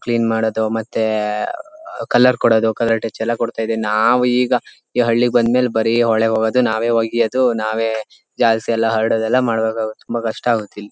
Clean ಮಾಡೋದು ಮತ್ತೆ ಆಹ್ ಕಲರ್ ಕೋಡೋದು ಕಲರ್ ಟಚ್ ಎಲ್ಲಾ ಕೊಡತ್ತಾ ಇದವಿ ನಾವು ಈಗ ಈ ಹಳ್ಳಿಗೆ ಬಂದ ಮೇಲೆ ಬರೀ ಹೊಳೆಗೆ ಹೋಗೋದು ನಾವೇ ಹೋಗಿ ಅದು ನಾವೇ ಜಾಲಸಿಯೆಲ್ಲಾ ಹರಡೋದ ಎಲ್ಲಾ ಮಾಡಬೇಕಾಗಿತ್ತು ತುಂಬಾ ಕಷ್ಟ ಆಗುತ್ತೆ ಇಲ್ಲಿ.